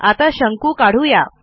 आता शंकू काढू या